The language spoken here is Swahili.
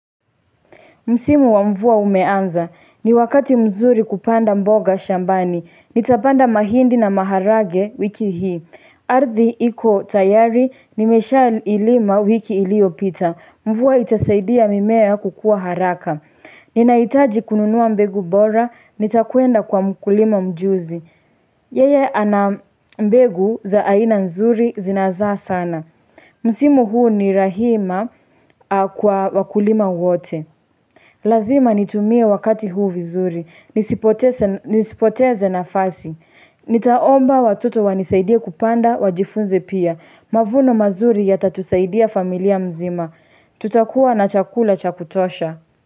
Msimu wa mvua umeanza. Ni wakati mzuri kupanda mboga shambani. Nitapanda mahindi na maharage wiki hii. Ardhi iko tayari, nimeshailima wiki iliyopita. Mvua itasaidia mimea kukua haraka. Ninahitaji kununua mbegu bora, nitakwenda kwa mkulima mjuzi. Yeye ana mbegu za aina nzuri zinazaa sana. Msimu huu ni rahima kwa wakulima wote. Lazima nitumie wakati huu vizuri. Nisipoteze nafasi. Nitaomba watoto wanisaidie kupanda wajifunze pia. Mavuno mazuri yatatusaidia familia mzima. Tutakuwa na chakula cha kutosha.